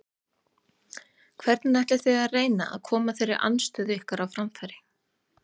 Hvernig ætlið þið að reyna að koma þeirri andstöðu ykkar á framfæri?